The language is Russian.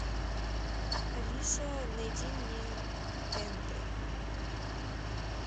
алиса найди мне тнт